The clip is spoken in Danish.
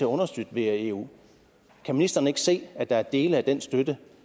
understøtte via eu kan ministeren ikke se at der er dele af den støtte